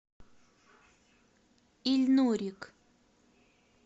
ильнурик